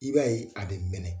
I b'a ye a be mɛnɛ